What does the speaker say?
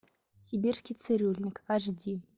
сибирский цирюльник аш ди